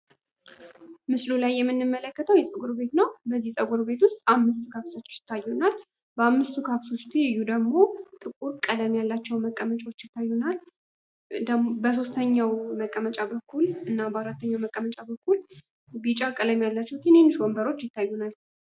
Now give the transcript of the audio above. ምስሉ ላይ የምንመለከተዉ ፀጉር ቤት ነዉ። በዚህ ፀጉር ቤቱ ዉስጥ አምስት ካክሶች ይታዩናል። በአምስቱ ካክሶች ትይዩ ደግሞ 3 ጥቁር ቀለም ያላቸዉ ወንበሮች ይታዩናል።